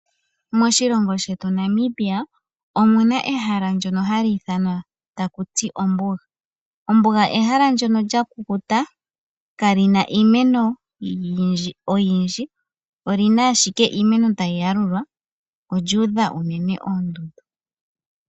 Moshilongo shetu Namibia omuna ehala ndono hali ithanwa takuti ombuga. Ombuga ehala ndono lya kukuta kalina iimeno oyindji olina ashike iimeno tayi yalulwa olyuudha unene oondudu.